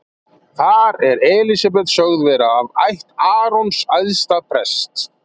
Þar er Elísabet sögð vera af ætt Arons æðsta prests.